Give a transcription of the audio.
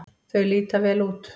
Þau líta vel út.